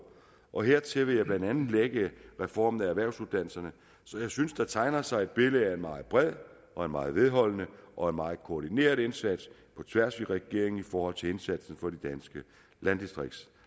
og hertil vil jeg blandt andet lægge reformen af erhvervsuddannelserne så jeg synes der tegner sig et billede af en meget bred og en meget vedholdende og en meget koordineret indsats på tværs af regeringen i forhold til indsatsen for de danske landdistrikter